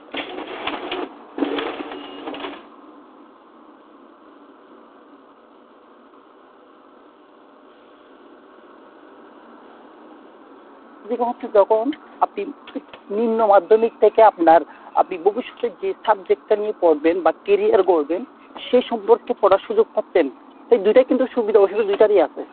যখন আপনি নিম্ন মাধ্যমিক থেকে আপনার আপনি ভবিষ্যতে যে subject নিয়ে পড়বেন বা career গড়বেন সেই সম্পর্কে পড়ার সুযোগ পাচ্ছেন তাই দুইটাই কিন্তু সুবিধা অসুবিধা দুইটারই আছে।